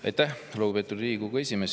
Aitäh, lugupeetud Riigikogu esimees!